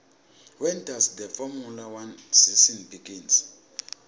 when does the formula one season begin